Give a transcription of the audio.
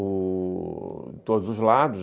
em todos os lados.